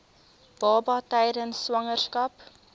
baba tydens swangerskap